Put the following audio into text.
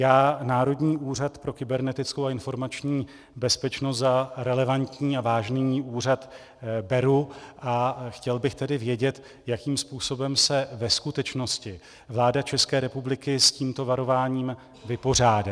Já Národní úřad pro kybernetickou a informační bezpečnost za relevantní a vážený úřad beru a chtěl bych tedy vědět, jakým způsobem se ve skutečnosti vláda České republiky s tímto varováním vypořádá.